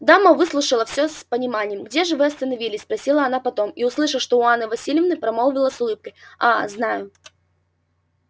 дама выслушала всё с пониманием где же вы остановились спросила она потом и услыша что у анны власьевны примолвила с улыбкою а знаю